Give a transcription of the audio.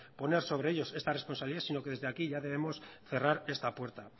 poner sobre ellos esta responsabilidad sino desde aquí ya tenemos cerrar esta puerta